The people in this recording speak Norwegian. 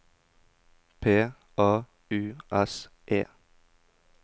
P A U S E